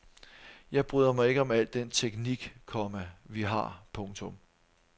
Jeg bryder mig ikke om al den teknik, komma vi har. punktum